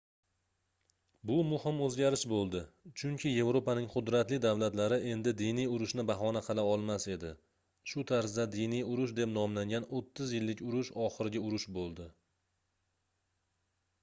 bu muhim oʻzgarish boʻldi chunki yevropaning qudratli davlatlari endi diniy urushni bahona qila olmas edi shu tarzda diniy urush deb nomlangan oʻttiz yillik urush oxirgi urush boʻldi